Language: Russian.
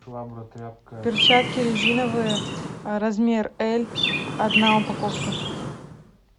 перчатки резиновые размер эль одна упаковка